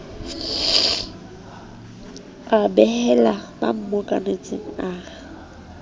a behela ba mmokanetseng a